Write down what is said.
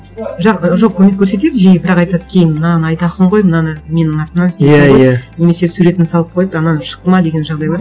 жоқ көмек көрсетеді жиі бірақ айтады кейін мынаны айтасың ғой мынаны менің атымнан істейсің ғой иә иә немесе суретін салып қойып анау шықты ма деген жағдайлар